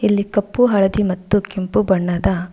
ಇಲ್ಲಿ ಕಪ್ಪು ಹಳದಿ ಮತ್ತು ಕೆಂಪು ಬಣ್ಣದ.